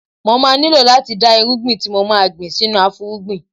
Mo má nílò láti da irúgbìn tí mo ma gbìn sínú afúrúgbìn.